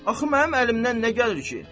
Axı mənim əlimdən nə gəlir ki?